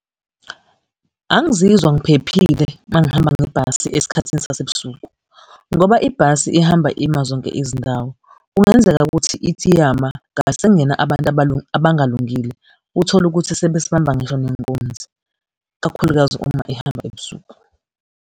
Angizizwa ngiphephile uma ngihamba ngebhasi esikhathini sasebusuku, ngoba ibhasi ihamba ima zonke izindawo. Kungenzeka ukuthi ithi iyama, ngase kungene abantu abalungalungile. Uthole ukuthi sebesibamba ngisho nenkunzi, kakhulukazi uma ihamba ebusuku.